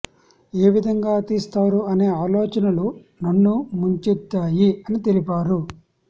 ఏ విధంగా తీస్తారు అనే ఆలోచనలు నన్ను ముంచెత్తాయి అని తెలిపారు